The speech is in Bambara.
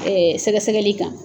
Ɛɛ sɛgɛsɛgɛli kan.